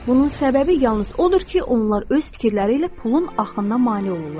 Bunun səbəbi yalnız odur ki, onlar öz fikirləri ilə pulun axınına mane olurlar.